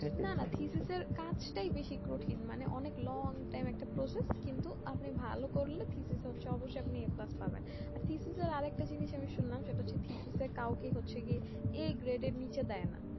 না না থিথিস এর কাজ তাই বেশি কঠিন মানে অনেক long time একটা project কিন্তু আপনি ভালো করলে থিথিস হচ্ছে অবশ্যই আপনি plus পাবেন আর তিথিসের আরেকটা জিনিস আমি শুনলাম সেইটা হচ্ছে তিথিসে কাওকেই হচ্ছে কিএ এই grade নিচে দেয় না